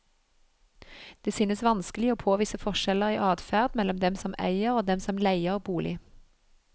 Det synes vanskelig å påvise forskjeller i adferd mellom dem som eier og dem som leier bolig.